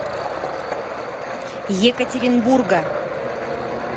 екатеринбурга